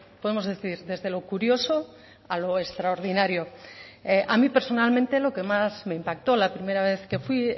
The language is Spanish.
podemos decir desde lo curioso a lo extraordinario a mí personalmente lo que más me impactó la primera vez que fui